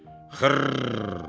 Xırrr!